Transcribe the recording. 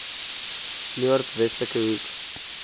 noord westelike hoek